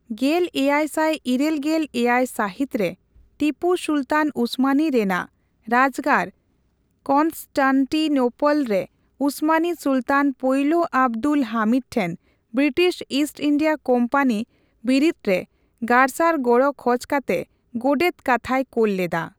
ᱜᱮᱞᱮᱭᱟᱭᱥᱟᱭ ᱤᱨᱟᱹᱞᱜᱮᱞ ᱮᱭᱟᱭ ᱥᱟᱹᱦᱤᱛ ᱨᱮ ᱴᱤᱯᱩ ᱥᱩᱞᱛᱟᱱ ᱩᱥᱢᱟᱱᱤ ᱨᱮᱱᱟᱜ ᱨᱟᱡᱜᱟᱲ ᱠᱚᱱᱥᱴᱟᱱᱴᱤᱱᱳᱞᱚᱞ ᱨᱮ ᱩᱥᱢᱟᱱᱤ ᱥᱩᱞᱛᱟᱱ ᱯᱳᱭᱞᱳ ᱟᱵᱫᱩᱞ ᱦᱟᱢᱤᱫ ᱴᱷᱮᱱ ᱵᱨᱤᱴᱤᱥ ᱤᱥᱴ ᱤᱱᱰᱤᱭᱟ ᱠᱳᱢᱯᱟᱱᱤ ᱵᱤᱨᱤᱫᱽ ᱨᱮ ᱜᱟᱨᱥᱟᱨ ᱜᱚᱲᱚ ᱠᱷᱚᱡ ᱠᱟᱛᱮ ᱜᱳᱰᱮᱛ ᱠᱟᱛᱷᱟᱭ ᱠᱳᱞ ᱞᱮᱫᱟ ᱾